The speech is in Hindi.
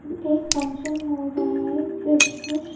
एक फंगक्शन हो रहा हैं क्रिसमस --